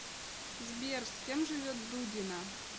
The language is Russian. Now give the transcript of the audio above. сбер с кем живет дудина